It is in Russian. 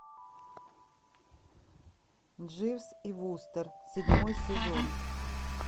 дживс и вустер седьмой сезон